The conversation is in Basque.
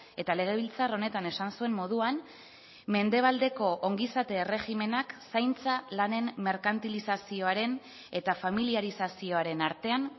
eta legebiltzar honetan esan zuen moduan mendebaldeko ongizate erregimenak zaintza lanen merkantilizazioaren eta familiarizazioaren artean